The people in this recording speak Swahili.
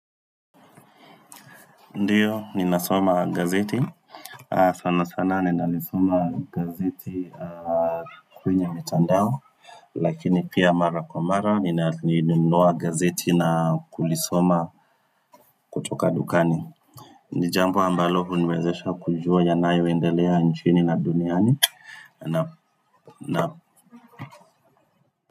Ndiyo ninasoma gazeti sana sana ninalisoma gazeti kwenye mtandao lakini pia mara kwa mara ni nalinunua gazeti na kulisoma kutoka dukani ni jambo ambalo huniwezesha kujua yanayoendelea nchini na duniani na na.